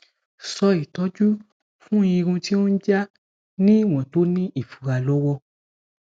so itoju fun irun ti o n ja ni iwon to ni ifura lowo